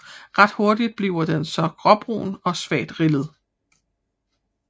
Ret hurtigt bliver den så gråbrun og svagt rillet